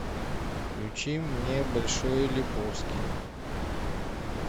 включи мне большой лебовски